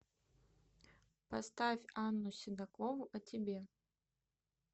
поставь анну седокову о тебе